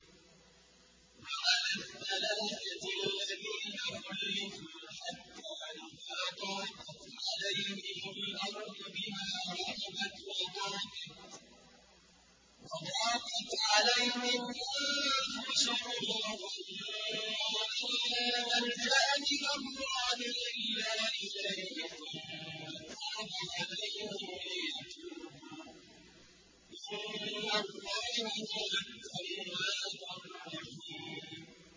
وَعَلَى الثَّلَاثَةِ الَّذِينَ خُلِّفُوا حَتَّىٰ إِذَا ضَاقَتْ عَلَيْهِمُ الْأَرْضُ بِمَا رَحُبَتْ وَضَاقَتْ عَلَيْهِمْ أَنفُسُهُمْ وَظَنُّوا أَن لَّا مَلْجَأَ مِنَ اللَّهِ إِلَّا إِلَيْهِ ثُمَّ تَابَ عَلَيْهِمْ لِيَتُوبُوا ۚ إِنَّ اللَّهَ هُوَ التَّوَّابُ الرَّحِيمُ